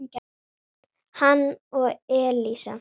hann og Elísa.